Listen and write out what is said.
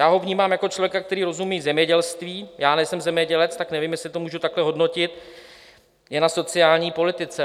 Já ho vnímám jako člověka, který rozumí zemědělství - já nejsem zemědělec, tak nevím, jestli to můžu takhle hodnotit - je na sociální politice.